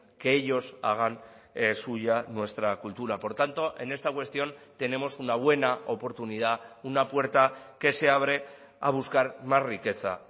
que ellos hagan suya nuestra cultura por tanto en esta cuestión tenemos una buena oportunidad una puerta que se abre a buscar más riqueza